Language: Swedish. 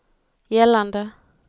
gällande